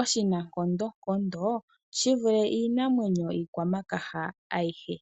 oshinankondonkondo shivule iinamwenyo iikwamakaha ayihe.